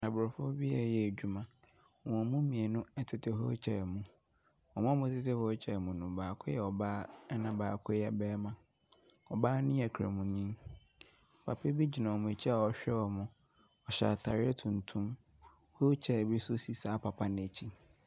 Aborɔfo bi ɛreyɛ adwuma. Wɔn mu mmienu ɛtete hɔ ɛretweɛn wɔn. Na wɔn a wɔtete hɔ ɛretweɛn wɔn no, baako yɛ ɔbaa, ɛna baako yɛ barima. Ɔbaa no yɛ kramoni. Papa bi gyina wɔn akyi a ɔrehwɛ wɔn, ɔhyɛ ataareɛ tuntum. Wheelchair bi nso si saa papa no akyi.